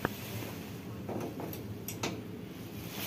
вайн маджер лазер в ютюбе